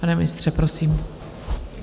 Pane ministře, prosím.